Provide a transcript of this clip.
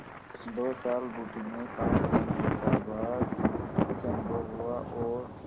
दो साल बुटीक में काम करने का बाद कुछ अनुभव हुआ और